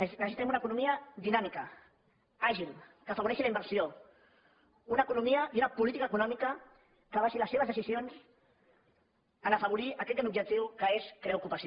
necessitem una economia dinàmica àgil que afavoreixi la inversió una economia i una política econòmica que basi les seves decisions en afavorir aquest gran objectiu que és crear ocupació